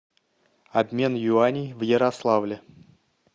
обмен юаней в ярославле